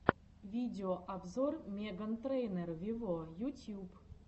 видеообзор меган трейнер вево ютьюб